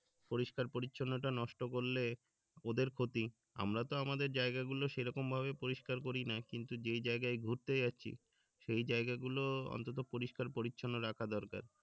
পরিস্কার-পরিচ্ছন্নতা নষ্ট করলে ওদের ক্ষতি আমরা তো আমাদের জায়গা গুলো সেরকম ভাবে পরিস্কার করি না কিন্তু যে জায়গাই ঘুরতে যাচ্ছি সেই জায়গা গুলো অন্তত্য পরিস্কার রাখা দরকার